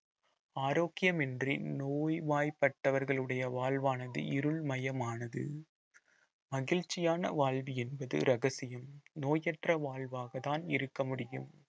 ஆரோக்கியம் இன்றி நோய்வாய்ப்பட்டவர்களுடைய வாழ்வானது இருள்மயமானது மகிழ்ச்சியான வாழ்வு என்பது ரகசியம் நோயற்ற வாழ்வாகதான் இருக்க முடியும்